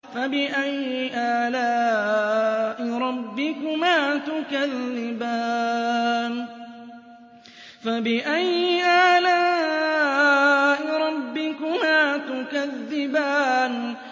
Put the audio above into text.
فَبِأَيِّ آلَاءِ رَبِّكُمَا تُكَذِّبَانِ